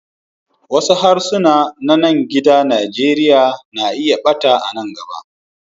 Wasu harsuna na gida a Nijeriya na iya ɓata a nan gaba.